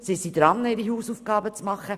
Sie sind dabei, ihre Hausaufgaben zu machen.